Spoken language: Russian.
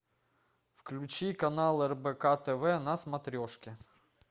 включи канал рбк тв на смотрешке